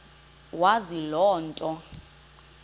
wazi loo nto